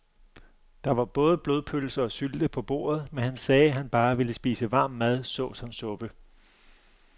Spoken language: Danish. Der var både blodpølse og sylte på bordet, men han sagde, at han bare ville spise varm mad såsom suppe.